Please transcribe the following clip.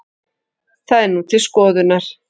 Það er nú til skoðunar